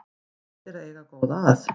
Gott er að eiga góða að